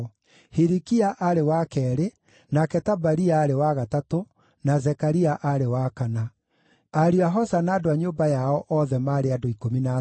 Hilikia aarĩ wa keerĩ, nake Tabalia aarĩ wa gatatũ, na Zekaria aarĩ wa kana. Ariũ a Hosa na andũ a nyũmba yao othe maarĩ andũ 13.